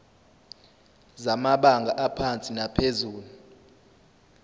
zamabanga aphansi naphezulu